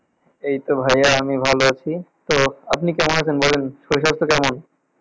এইতো ভাইয়া আমি ভালো আছি, তো আপনি কেমন আছেন বলেন, শরীর স্বাস্থ্য কেমন?